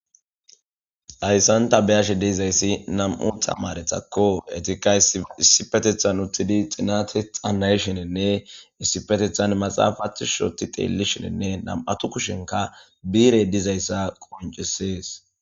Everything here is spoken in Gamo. hayssanta beyashe deizayssi nam7u tamaretakko etika issipetethan uttidi xinate xanayshenenne issipetethan maxaafathi shoti teellishenenne nam7atu kushenka biire dizayssa qoncisees